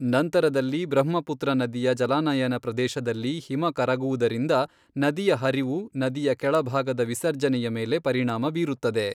ನಂತರದಲ್ಲಿ ಬ್ರಹ್ಮಪುತ್ರ ನದಿಯ ಜಲಾನಯನ ಪ್ರದೇಶದಲ್ಲಿ ಹಿಮ ಕರಗುವುದರಿಂದ ನದಿಯ ಹರಿವು, ನದಿಯ ಕೆಳಭಾಗದ ವಿಸರ್ಜನೆಯ ಮೇಲೆ ಪರಿಣಾಮ ಬೀರುತ್ತದೆ.